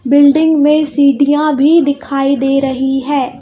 Building में सीडीयां भी दिखाई दे रही है.